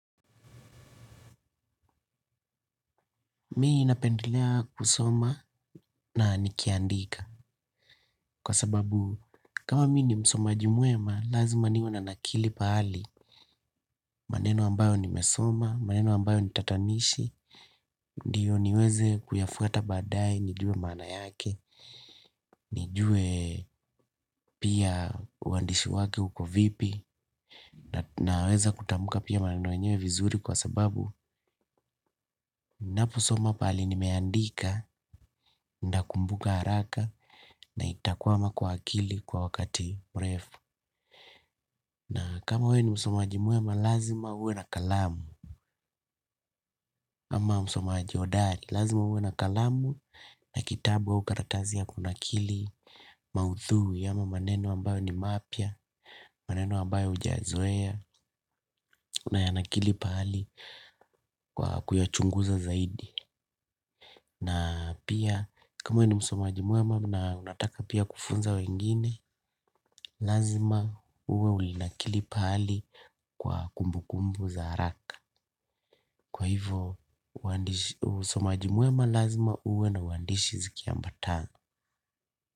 Mi napendelea kusoma na nikiandika kwa sababu kama mmi ni msomaji mwema lazima niwenanakili pahali maneno ambayo nimesoma, maneno ambayo nitatanishi, ndio niweze kuyafuata baadaye, nijue maana yake, nijue pia uandishi wake uko vipi, naweza kutamka pia maneno yenyewe vizuri kwa sababu naposoma pahali nimeandika, ndakumbuka haraka na itakwama kwa akili kwa wakati mrefu. Na kama we ni msomaji mwema lazima uwe na kalamu. Ama msomaji hodari lazima uwe na kalamu na kitabu au karatasi ya kunakili maudhui. Ama maneno ambayo ni mapya, maneno ambayo hujayazoea. Unayanakili pahali kwa kuyachunguza zaidi. Na pia kama we ni msomaji mwema na unataka pia kufunza wengine. Lazima uwe ulinakili pahali kwa kumbukumbu za haraka. Kwa hivyo usomaji mwema lazima uwe na uandishi zikiambatana.